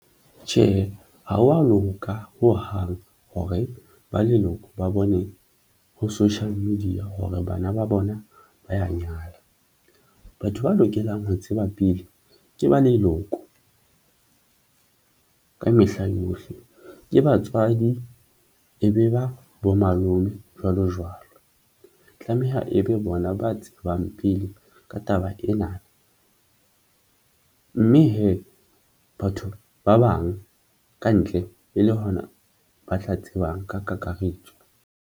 Tjhe, ha wa loka hohang hore ba leloko ba bone ho social media hore bana ba bona ba ya nyala. Batho ba lokelang ho tseba pele ke ba leloko mme ka mehla yohle ke batswadi e be ba bo malome jwalo jwalo. Tlameha e be bona ba tsebang pele ka taba ena na mme hee batho ba bang ka ntle e le hona ba tla tsebang ka kakaretso.